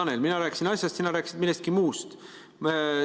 No, Tanel, mina rääkisin asjast, sina rääkisid millestki muust.